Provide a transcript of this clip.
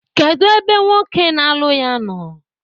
Kedu ebe nwoke na-alụ ya nọ?